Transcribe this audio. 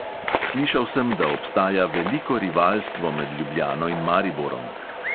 Slišal sem, da obstaja veliko rivalstvo med ljubljano in mariborom.